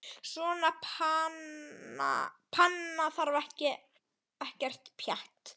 Svona panna þarf ekkert pjatt.